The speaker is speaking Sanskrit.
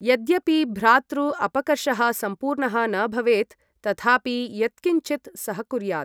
यद्यपि भ्रातृ अपकर्षः सम्पूर्णः न भवेत्, तथापि यत्किञ्चित् सहकुर्यात्।